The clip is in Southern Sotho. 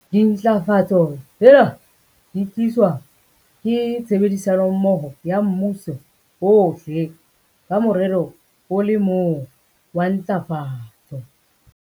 Dintlafatso tsena di tliswa ke tshebedisanommoho ya mmuso ohle ka morero o le mong wa ntlafatso.